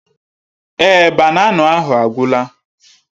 Èé, banana ahụ agwụla.